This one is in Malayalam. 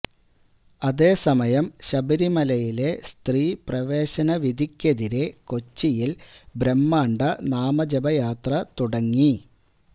അതേസമയം ശബരിമലയിലെ സ്ത്രീ പ്രവേശന വിധിക്കെതിരെ കൊച്ചിയില് ബ്രഹ്മാണ്ഡ നാമജപയാത്ര തുടങ്ങി